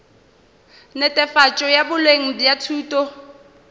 netefatšo ya boleng bja thuto